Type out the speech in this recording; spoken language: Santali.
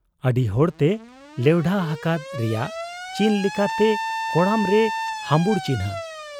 ᱟᱹᱰᱤᱦᱚᱲᱛᱮ ᱞᱮᱣᱰᱷᱟ ᱦᱟᱠᱟᱫ ᱨᱮᱭᱟᱜ ᱪᱤᱱ ᱞᱮᱠᱟᱛᱮ ᱠᱚᱲᱟᱢᱨᱮ ᱦᱟᱹᱢᱵᱩᱲ ᱪᱤᱱᱦᱟᱹ ᱾